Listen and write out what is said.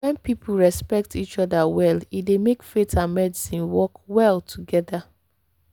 when people respect each other well e dey make faith and medicine work well together.